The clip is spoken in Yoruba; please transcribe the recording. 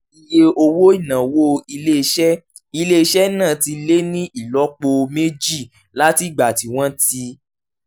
iye owó ìnáwó ilé-iṣẹ́ ilé-iṣẹ́ náà ti lé ní ìlọ́po méjì látìgbà tí wọ́n ti